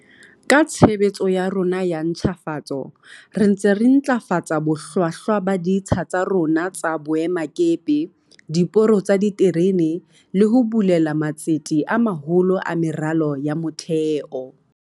Ka tshebetso ya rona ya ntjhafatso re ntse re ntlafatsa bohlwahlwa ba ditsha tsa rona tsa boemakepe, diporo tsa diterene le ho bulela matsete a maholo a meralo ya motheo.